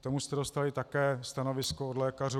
K tomu jste dostali také stanovisko od lékařů.